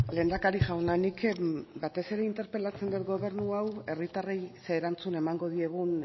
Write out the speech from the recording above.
lehendakari jauna nik batez ere interpelatzen dut gobernu hau herritarrei ze erantzun emango diegun